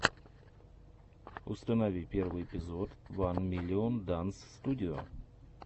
установи первый эпизод ван миллион данс студио